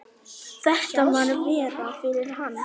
Þetta var verra fyrir hana.